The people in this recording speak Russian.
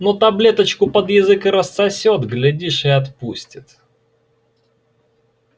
но таблеточку под язык рассосёт глядишь и отпустит